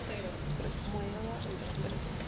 moya wa go tonya o